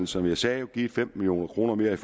som jeg sagde givet femten million kroner mere